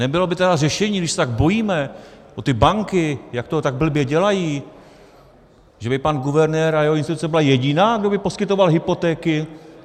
Nebylo by tedy řešením, když se tak bojíme o ty banky, jak to tak blbě dělají, že by pan guvernér a jeho instituce byla jediná, kdo by poskytoval hypotéky?